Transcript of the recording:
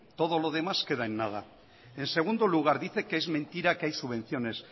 todo lo demás queda en nada en segundo lugar dice que es mentira que hay subvenciones